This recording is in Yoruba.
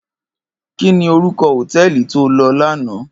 Kini órúkò hótèlí tó lò làná?